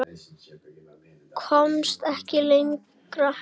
Komst ekki lengra.